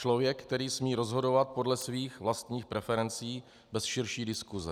Člověk, který smí rozhodovat podle svých vlastních preferencí bez širší diskuse.